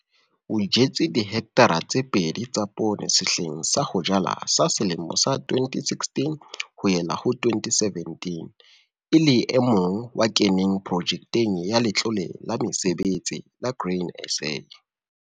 O jetse dihekthara tse pedi tsa poone sehleng sa ho jala sa 2016-2017 e le e mong wa keneng Projekeng ya Letlole la Mesebetsi la Grain SA.